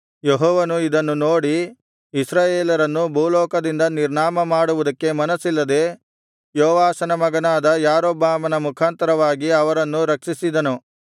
ಯೆಹೋವನು ಇದನ್ನು ನೋಡಿ ಇಸ್ರಾಯೇಲರನ್ನು ಭೂಲೋಕದಿಂದ ನಿರ್ನಾಮ ಮಾಡುವುದಕ್ಕೆ ಮನಸ್ಸಿಲ್ಲದೆ ಯೋವಾಷನ ಮಗನಾದ ಯಾರೊಬ್ಬಾಮನ ಮುಖಾಂತರವಾಗಿ ಅವರನ್ನು ರಕ್ಷಿಸಿದನು